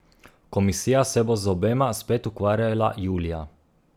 Komisija se bo z obema spet ukvarjala julija.